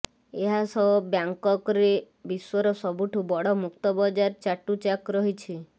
ଏହାସହ ବ୍ୟାକଂକରେ ବିଶ୍ୱର ସବୁଠୁ ବଡ଼ ମୁକ୍ତ ବଜାର ଚାଟୁଚାକ ରହିଛି